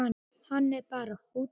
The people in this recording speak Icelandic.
Hann er bara fúll.